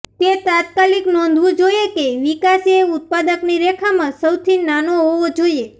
તે તાત્કાલિક નોંધવું જોઈએ કે વિકાસ એ ઉત્પાદકની રેખામાં સૌથી નાનો હોવો જોઈએ